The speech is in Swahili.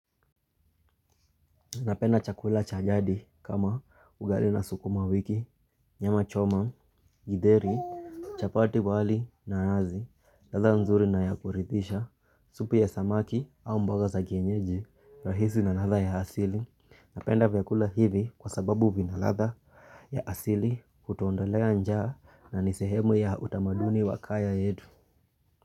Napenda chakula cha jadi kama ugali na sukuma wiki, nyama choma, githeri, chapati wali nazi, ladha mzuri na ya kuridhisha, supu ya samaki au mboga za kienyeji, rahisi na ladha ya asili. Napenda vyakula hivi kwa sababu vina ladha ya asili hutuondolea njaa na ni sehemu ya utamaduni wa kaya yetu.